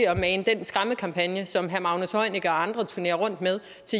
at mane den skræmmekampagne som herre magnus heunicke og andre turnerer rundt med